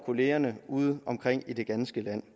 kollegaerne udeomkring i det ganske land